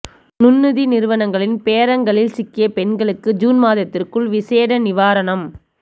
நுண்நிதி நிறுவனங்களின் பேரங்களில் சிக்கிய பெண்களுக்கு ஜூன் மாதத்திற்குள் விசேட நிவாரணம்